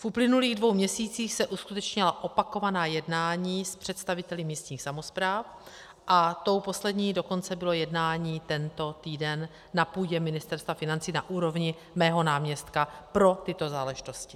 V uplynulých dvou měsících se uskutečnila opakovaná jednání s představiteli místních samospráv a tím posledním dokonce bylo jednání tento týden na půdě Ministerstva financí na úrovni mého náměstka pro tyto záležitosti.